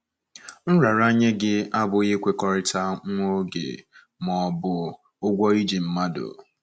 Nraranye gị abụghị nkwekọrịta nwa oge ma ọ bụ ụgwọ i ji mmadụ